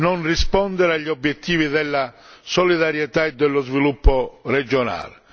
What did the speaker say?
non rispondere agli obiettivi della solidarietà e dello sviluppo regionale.